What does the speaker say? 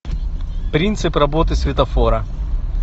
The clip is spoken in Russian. принцип работы светофора